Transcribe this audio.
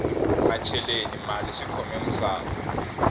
macheleni mali swikhome musava